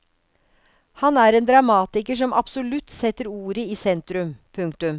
Han er en dramatiker som absolutt setter ordet i sentrum. punktum